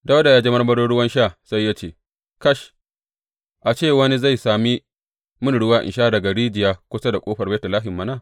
Dawuda ya ji marmarin ruwan sha sai ya ce, Kash, a ce wani zai sami mini ruwan sha daga rijiya kusa da ƙofar Betlehem mana!